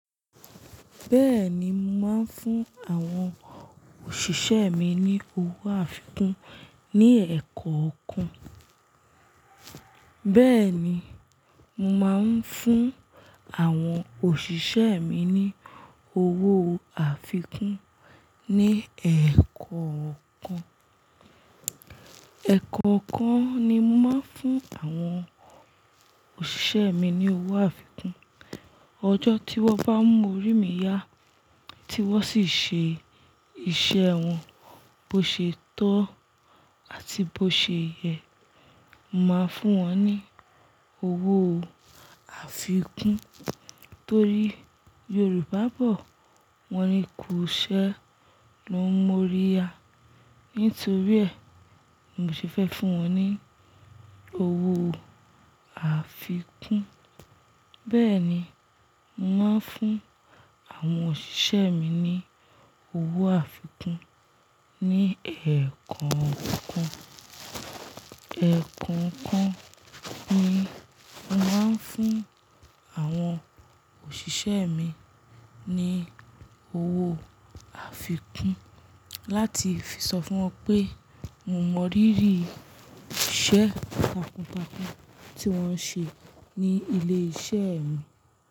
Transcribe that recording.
Bẹ́ẹ̀ni, màá ń fún àwọn òṣìṣẹ́ mi ní owó àfikún ní ẹ̀ẹ̀kọ̀ọ́ kan. Bẹ́ẹ̀ni, mo màá ń fún àwọn òṣìṣẹ́ mi ní owó àfikún ní ẹ̀ẹ̀kọ̀ọ́ kan. Ẹ̀ẹ̀kọ̀ọ́ kan ni màá ń fún àwọn òṣìṣẹ́ mi ní owó àfikún. Ọjọ́ tí wọ́n bá mú orí mi yá, tí wọ́n sì ṣe iṣẹ́ wọn bó ṣe tọ́ àti bó ṣe yẹ, màá fún wọn ní owó àfikún. Nítorí Yorùbá bọ̀ wọ́n ni "Ku iṣẹ́ lo n mú orí ya", nítorí ẹ, ni mò ṣe fẹ́ fún wọn ní owó àfikún. Bẹ́ẹ̀ni, màá ń fún àwọn òṣìṣẹ́ mi ní owó àfikún ní ẹ̀ẹ̀kọ̀ọ́ kan. Ẹ̀ẹ̀kọ̀ọ́ kan ni màá ń fún àwọn òṣìṣẹ́ mi ní owó àfikún láti fi sọ fún wọn pé mo mọrírì iṣẹ́ takun takun tí wọ́n ń ṣe ní ilé iṣẹ́ mi.